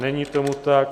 Není tomu tak.